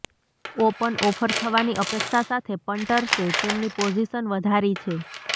open offer થવાની અપેક્ષા સાથે પંટર્સે તેમની પોઝિશન વધારી છે